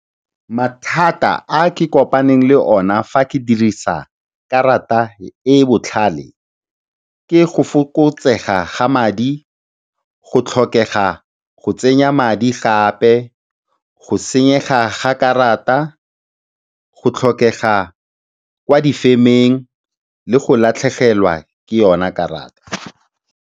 Mathata a ke kopaneng le ona fa ke dirisa karata e e botlhale ke go fokotsega ga madi, go tlhokega go tsenya madi gape, go senyega ga karata, go tlhokega kwa difemeng le go latlhegelwa ke yona karata.